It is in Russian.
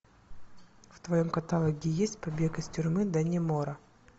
в твоем каталоге есть побег из тюрьмы даннемора